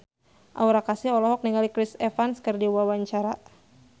Aura Kasih olohok ningali Chris Evans keur diwawancara